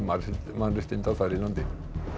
mannréttinda þar í landi